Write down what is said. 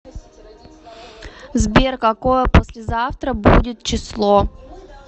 сбер какое послезавтра будет число